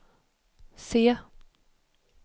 se